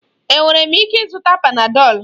Enwere m ịke ịzụta panadọlu?